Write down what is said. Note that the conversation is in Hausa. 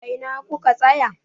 A ina ku ka tsaya?